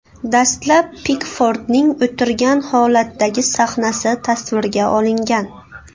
Dastlab Pikfordning o‘tirgan holatdagi sahnasi tasvirga olingan.